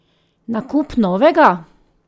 Nakup novega?